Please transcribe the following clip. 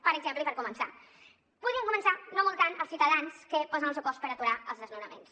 per exemple i per començar podem començar no multant els ciutadans que posen el seu cos per aturar els desnonaments